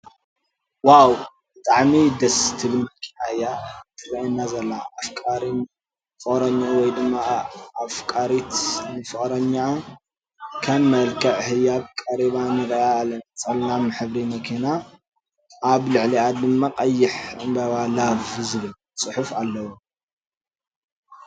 ዋው ብጣዕሚ ደስ ትብል መኪና እያ እትርኣየና ዘላ። ኣፍቃሪ ንፍቅረኝኡ ወይ ድማ ኣፍራሪት ንፍቅረኛኣ ከም መልክዕ ህያብ ቀሪባ ንሪእያ ኣለና። ፀላም ሕብሪ መኪና ኣብ ልዕልይኣ ድማ ቀይሕ ዕንበባ love ዝብል ፅሑፍ ኣለዎ።